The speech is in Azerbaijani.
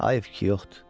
hayf ki yoxdur.